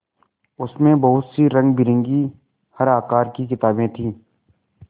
उसमें बहुत सी रंगबिरंगी हर आकार की किताबें थीं